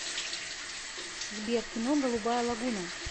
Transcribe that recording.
сбер кино голубая лагуна